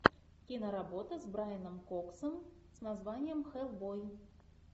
киноработа с брайаном коксом с названием хеллбой